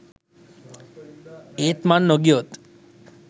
ඒත් මං නොගියොත්